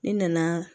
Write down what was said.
Ne nana